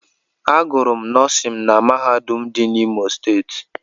Agụrụ m nọọsin na mahadum dị n'Imo Steeti.